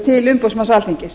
til umboðsmanns alþingis